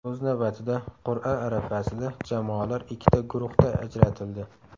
O‘z navbatida qur’a arafasida jamoalar ikkita guruhda ajratildi.